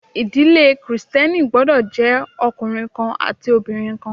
Ìdílé Kristẹni gbọ́dọ̀ jẹ́ ọkùnrin kan àti obìnrin kan